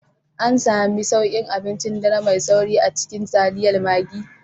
An sami sauƙin abincin dare mai sauri a cikin taliyar Maggi